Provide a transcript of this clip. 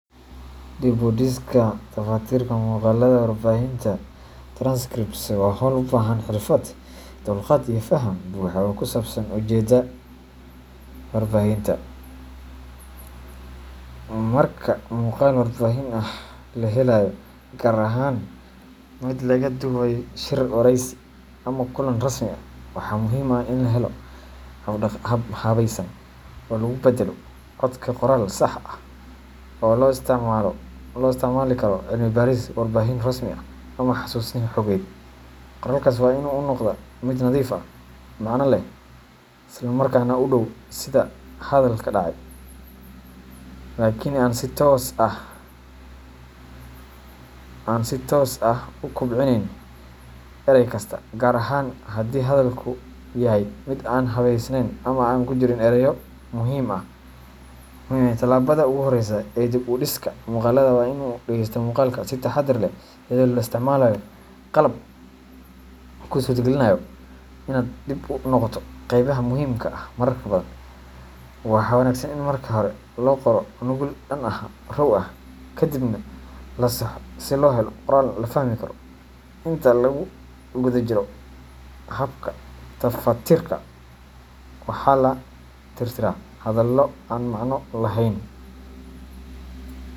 Dib u dhiska ama tafatirka muqaalada warbixinta transcripts waa hawl u baahan xirfad, dulqaad, iyo faham buuxa oo ku saabsan ujeedada warbixinta. Marka muqaal warbixin ah la helayo gaar ahaan mid laga duubay shir, wareysi, ama kulan rasmi ah waxaa muhiim ah in la helo hab habaysan oo lagu beddelo codka qoraal sax ah oo loo isticmaali karo cilmi baaris, warbixin rasmi ah, ama xasuusin xogeed. Qoraalkaasi waa in uu noqdaa mid nadiif ah, macne leh, islamarkaana u dhow sida hadalka u dhacay, laakin aan si toos ah u koobiyeyn eray kasta, gaar ahaan haddii hadalku yahay mid aan habaysneyn ama ay ku jiraan erayo aan muhiim ahayn. Tallaabada ugu horreysa ee dib u dhiska muqaalada waa in la dhagaysto muqaalka si taxaddar leh, iyadoo la isticmaalayo qalab kuu suurtagelinaya inaad dib ugu noqoto qaybaha muhiimka ah marar badan. Waxaa wanaagsan in marka hore la qoro nuqul dhan oo raw ah, kaddibna la saxo si loo helo qoraal la fahmi karo. Inta lagu guda jiro habka tafatirka, waxaa la tirtiraa hadallo aan macno lahayn .